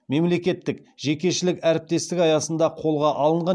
мемлекет жекешелік әріптестік аясында қолға алынған